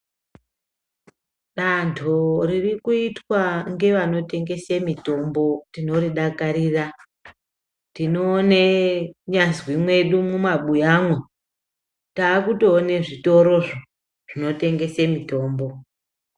Dando ririkuitwa ngevanotengese mitombo tinoridakarira tinoone kunyazwi mwedu mumabuyamwo takutoone zvitorozvo zvinotengese mitombo.